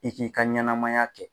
I k'i ka ɲɛnamaya kɛ